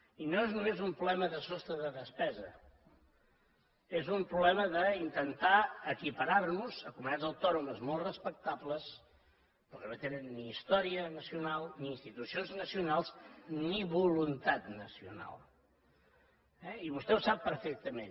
i no és només un problema de sostre de despesa és un problema d’intentar equiparar nos a comunitats autònomes molt respectables però que no tenen ni història nacional ni institucions nacionals ni voluntat nacional eh i vostè ho sap perfectament